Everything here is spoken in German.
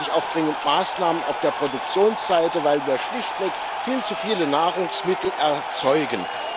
Wir brauchen nämlich auch dringend Maßnahmen auf der Produktionsseite, weil wir schlichtweg viel zu viele Nahrungsmittel erzeugen.